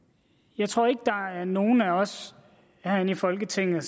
jeg tror ikke at der er nogen af os herinde i folketinget